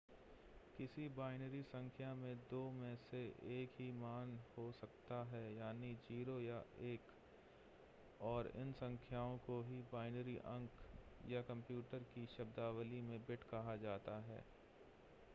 किसी बाइनरी संख्या में दो में से एक ही मान हो सकता है यानी 0 या 1 और इन संख्याओं को ही बाइनरी अंक या कंप्यूटर की शब्दावली में बिट कहा जाता है